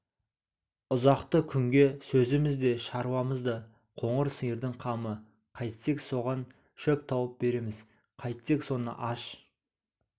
ұзақты күнге сөзіміз де шаруамыз да қоңыр сиырдың қамы қайтсек соған шөп тауып береміз қайтсек соны аш